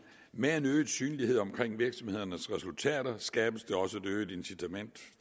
med en øget synlighed omkring virksomhedernes resultater skabes der også et øget incitament